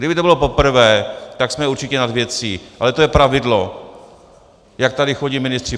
Kdyby to bylo poprvé, tak jsme určitě nad věcí, ale to je pravidlo, jak tady chodí ministři.